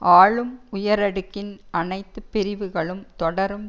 ஆளும் உயரடுக்கின் அனத்து பிரிவுகளும் தொடரும்